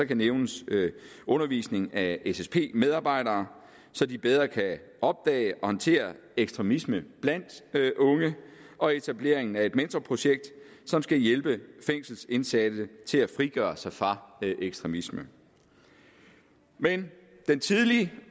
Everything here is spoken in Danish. kan nævnes undervisningen af ssp medarbejdere så de bedre kan opdage og håndtere ekstremisme blandt unge og etableringen af et mentorprojekt som skal hjælpe fængselsindsatte til at frigøre sig fra ekstremisme men den tidlige